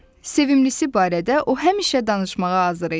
Sevilisi barədə o həmişə danışmağa hazır idi.